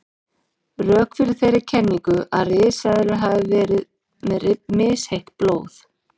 Rök fyrir þeirri kenningu að risaeðlur hafi verið með misheitt blóð.